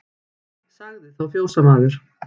Sagði þá fjósamaður